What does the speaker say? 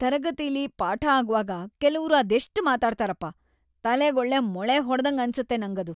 ತರಗತಿಲಿ ಪಾಠ ಆಗ್ವಾಗ ಕೆಲವ್ರು ಅದೆಷ್ಟ್‌ ಮಾತಾಡ್ತಾರಪ್ಪ, ತಲೆಗೊಳ್ಳೆ ಮೊಳೆ ಹೊಡ್ದಂಗ್‌ ಅನ್ಸತ್ತೆ ನಂಗದು.